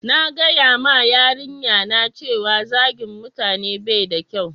na gaya ma yarinya na cewa zagin mutane bai da kyau